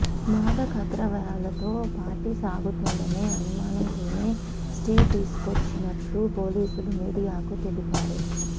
మాదకద్రవ్యాలతో party సాగుతుందనే అనుమానంతోనే stay తీసుకొచ్చినట్లు పోలీసులు మీడియాకు తెలిపారు